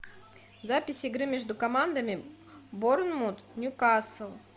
запись игры между командами борнмут ньюкасл